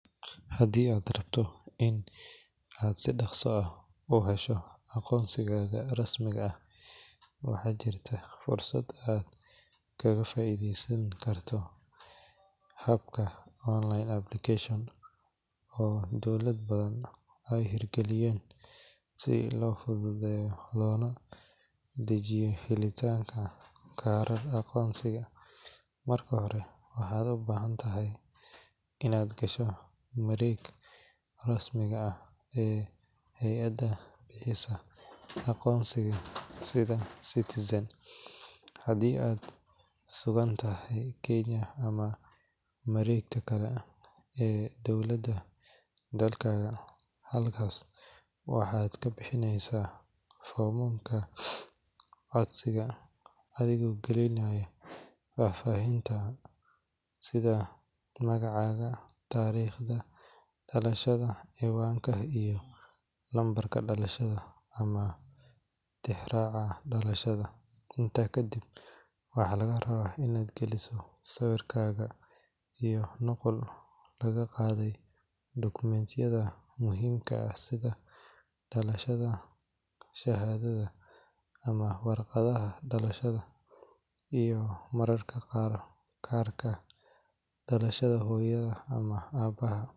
Haddii aad rabto in aad si dhakhso ah u hesho aqoonsigaaga rasmi ah, waxaa jirta fursad aad kaga faa’iidaysan karto habka online application oo dowlado badan ay hirgeliyeen si loo fududeeyo loona dedejiyo helitaanka kaarka aqoonsiga. Marka hore, waxaad u baahan tahay inaad gasho mareegta rasmiga ah ee hay’adda bixisa aqoonsiga sida eCitizen haddii aad ku sugan tahay Kenya ama mareegta kale ee dowladda dalkaaga. Halkaas waxaad ka buuxinaysaa foomka codsiga, adigoo gelinaya faahfaahintaada sida magacaaga, taariikhda dhalashada, ciwaanka, iyo lambarka dhalashada ama tixraaca dhalashada. Intaa kadib, waxaa lagaa rabaa inaad geliso sawirkaaga iyo nuqulo laga qaaday dukumiintiyada muhiimka ah sida shahaadada dhalashada ama warqadda dhalashada, iyo mararka qaar kaarka dhalashada hooyada ama aabaha.